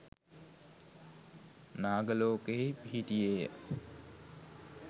නාග ලෝකයෙහි පිහිටියේ ය.